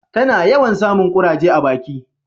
ta na yawan samun kuraje a baki